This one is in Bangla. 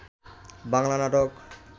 বাংলা নাটক